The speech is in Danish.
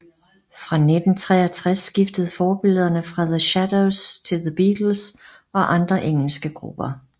Fra 1963 skiftede forbillederne fra The Shadows til The Beatles og andre engelske grupper